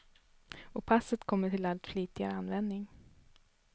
Och passet kommer till allt flitigare användning.